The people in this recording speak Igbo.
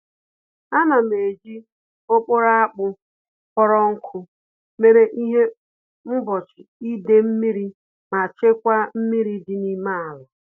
Ánám eji okporo akpụ kpọrọ nkụ mere ihe mgbochi idee-mmiri ma chekwaa mmiri dị n'ime àlà